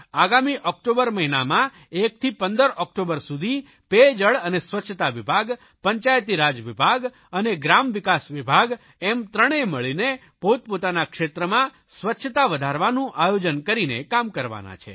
આગામી ઓકટોબર મહિનામાં 1 થી 15 ઓકટોબર સુધી પેયજળ અને સ્વચ્છતા વિભાગ પંચાયતી રાજ વિભાગ અને ગ્રામવિકાસ વિભાગ એમ ત્રણેય મળીને પોતપોતાના ક્ષેત્રમાં સ્વચ્છતા વધારવાનું આયોજન કરીને કામ કરવાના છે